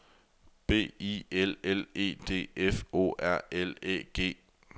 B I L L E D F O R L Æ G